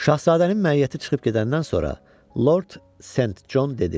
Şahzadənin məiyyəti çıxıb gedəndən sonra, Lord Sent Con dedi.